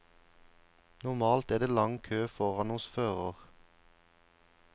Normalt er det lang kø foran hos fører.